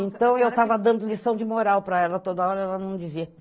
Então, eu estava dando lição de moral para ela toda hora, ela não dizia.